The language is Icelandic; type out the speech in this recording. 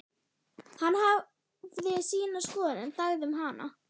Hann hafði sína skoðun en þagði um hana.